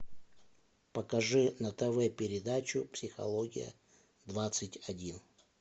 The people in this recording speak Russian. покажи на тв передачу психология двадцать один